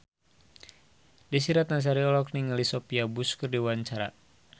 Desy Ratnasari olohok ningali Sophia Bush keur diwawancara